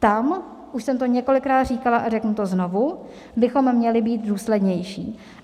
Tam - už jsem to několikrát říkala a řeknu to znovu - bychom měli být důslednější.